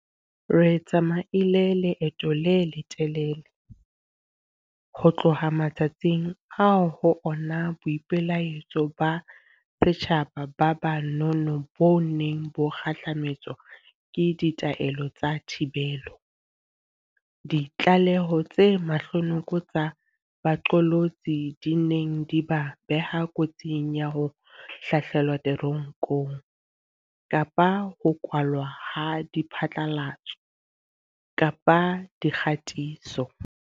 Re tsamaile leeto le letelele ho tloha matsatsing ao ho ona boipelaetso ba setjhaba ba ba nono bo neng bo kgahlame tswa ke ditaelo tsa thibelo, ditlaleho tse mahlonoko tsa baqolotsi di neng di ba beha kotsing ya ho hlahlelwa te ronkong kapa ho kwalwa ha diphatlalatso dikgatiso.